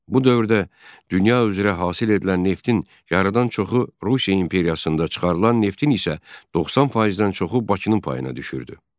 Bu dövrdə dünya üzrə hasil edilən neftin yarıdan çoxu Rusiya imperiyasında çıxarılan neftin isə 90%-dən çoxu Bakının payına düşürdü.